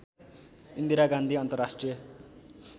इन्दिरा गान्धी अन्तर्राष्ट्रिय